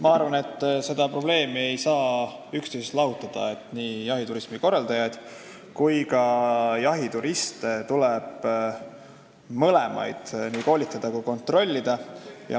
Ma arvan, et neid ei saa üksteisest lahutada, nii jahiturismikorraldajaid kui ka jahituriste tuleb mõlemaid koolitada ja kontrollida.